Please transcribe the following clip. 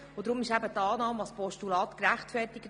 Darum ist die Annahme als Postulat gerechtfertigt.